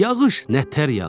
Yağış nətər yağır?